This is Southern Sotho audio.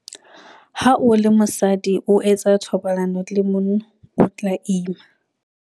Ha o le mosadi o etsa thobalano le monna o tla ima.